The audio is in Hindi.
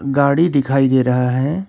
गाड़ी दिखाई दे रहा है।